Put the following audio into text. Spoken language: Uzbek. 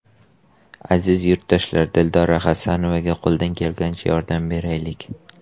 Aziz yurtdoshlar, Dildora Xasanovaga qo‘ldan kelgunicha yordam beraylik!